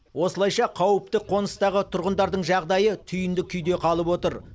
осылайша қауіпті қоныстағы тұрғындардың жағдайы түйінді күйде қалып отыр